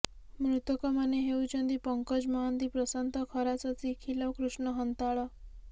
ମୃତକମାନେ ହେଉଛନ୍ତି ପଙ୍କଜ ମହାନ୍ତି ପ୍ରଶାନ୍ତ ଖରା ଶଶି ଖିଲ କୃଷ୍ଣ ହନ୍ତାଳ